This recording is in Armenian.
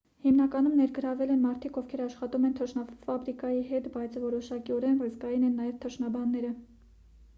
հիմնականում ներգրավել են մարդիկ ովքեր աշխատում են թռչնաֆաբրիկայի հետ բայց որոշակիորեն ռիսկային են նաև թռչնաբանները